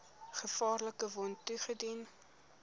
gevaarlike wond toegedien